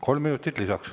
Kolm minutit lisaks.